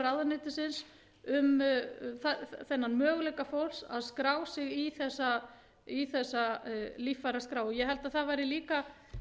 ráðuneytisins um þennan möguleika fólks að skrá sig í þessa líffæraskrá ég held að það væri líka